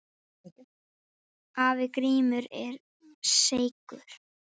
Afi Grímur var seigur.